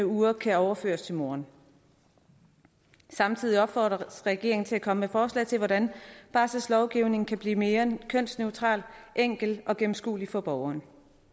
uger kan overføres til moren samtidig opfordres regeringen til at komme med forslag til hvordan barselslovgivningen kan blive mere kønsneutral enkel og gennemskuelig for borgerne